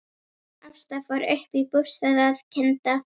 Ásta fór upp í bústað að kynda.